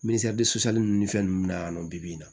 misiyɛrisisan ni fɛn ninnu bɛ na yan nɔ bi in na